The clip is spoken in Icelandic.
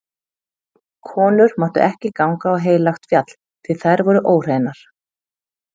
Konur máttu ekki ganga á heilagt fjall, því þær voru óhreinar.